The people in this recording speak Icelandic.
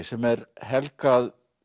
sem er helgað